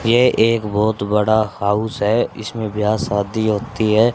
ये एक बहोत बड़ा हाउस है इसमें ब्याह शादी होती है।